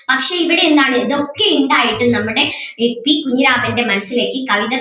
പക്ഷേ ഇവിടെ എന്താണ് ഇതൊക്കെ ഇണ്ടായിട്ടും നമ്മുടെ കെ പി കുഞ്ഞിരാമൻറെ മനസ്സിലേക്ക് കവിത